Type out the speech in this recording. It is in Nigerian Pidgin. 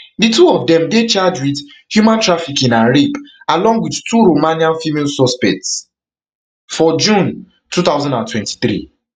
di two of dem deycharged with human trafficking and rapealong with two romanian female suspects for june two thousand and twenty-three